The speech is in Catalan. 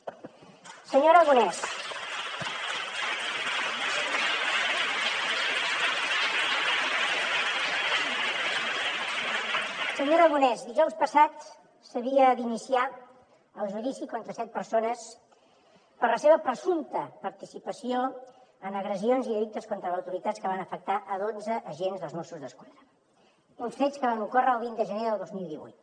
senyor aragonès dijous passat s’havia d’iniciar el judici contra set persones per la seva presumpta participació en agressions i delictes contra l’autoritat que van afectar dotze agents dels mossos d’esquadra uns fets que van ocórrer el vint de gener de dos mil divuit